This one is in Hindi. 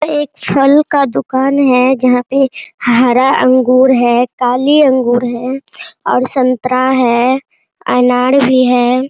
एक फल का दुकान है जहाँ पे हरा अंगूर है काली अंगूर है और संतरा है अनार भी है |